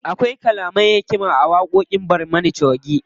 Akwai kalaman hikima a waƙoƙin barmana choge.